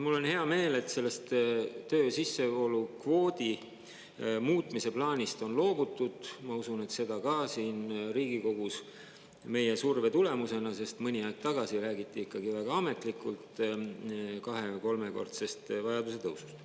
Mul on hea meel, et sellest töö sissevoolu kvoodi muutmise plaanist on loobutud, ma usun, et seda ka siin Riigikogus meie surve tulemusena, sest mõni aeg tagasi räägiti ikkagi väga ametlikult kahe- või kolmekordsest vajaduse tõusust.